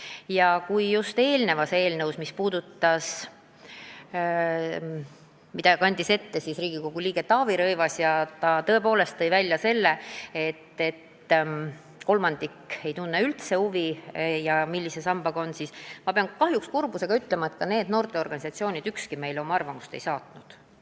Ja kui Riigikogu liige Taavi Rõivas tõi siin täna oma ettekannet esitades välja tõsiasja, et kolmandik töömeheteed alustanutest ei tunne üldse huvi, millise sambaga tegu on, siis ma pean kahjuks kurbusega ütlema, et ka ükski nendest noorteorganisatsioonidest meile oma arvamust ei saatnud.